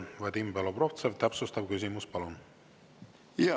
Vadim Belobrovtsev, täpsustav küsimus, palun!